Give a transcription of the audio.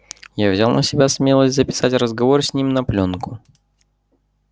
я взял на себя смелость записать разговор с ним на плёнку